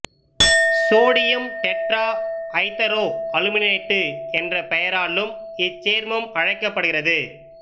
sodium tetrahydroaluminate என்ர பெயராலும் இச்சேர்மம் அழைக்கப்படுகிற்து